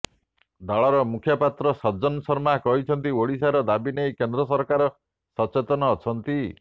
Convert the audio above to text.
ଦଳର ମୁଖପାତ୍ର ସଜ୍ଜନ ଶର୍ମା କହିଛନ୍ତି ଓଡ଼ିଶାର ଦାବି ନେଇ କେନ୍ଦ୍ର ସରକାର ସଚେତନ ଅଛନ୍ତି